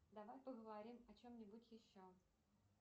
давай поговорим о чем нибудь еще